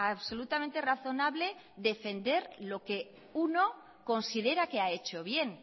absolutamente razonable defender lo que uno considera que ha hecho bien